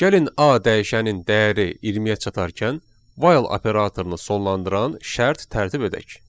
Gəlin A dəyişənin dəyəri 20-yə çatarkən 'while' operatorunu sonlandıran şərt tərtib edək.